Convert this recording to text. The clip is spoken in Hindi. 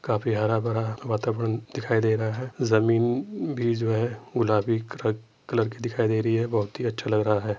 काफी हरा भरा वातावरण दिखाई दे रहा है जमीन भी जो है गुलाबी कल कलर की दिखाई दे रही है बहुत ही अच्छा लग रहा है ।